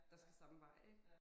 Der skal samme vej ik